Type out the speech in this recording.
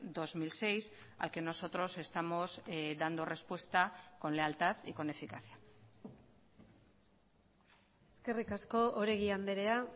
dos mil seis al que nosotros estamos dando respuesta con lealtad y con eficacia eskerrik asko oregi andrea